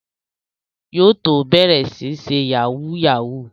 Yóò tó bẹ̀rẹ̀ sí ń ṣe Yahoo yahoo